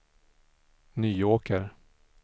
Nyåker